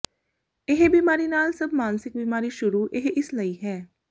ਇਹ ਬੀਮਾਰੀ ਨਾਲ ਸਭ ਮਾਨਸਿਕ ਬੀਮਾਰੀ ਸ਼ੁਰੂ ਇਹ ਇਸ ਲਈ ਹੈ